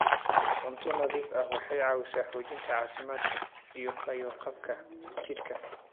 Cunto nadiif ah waxay caawisaa xoojinta caafimaadka iyo fayo-qabka jidhka.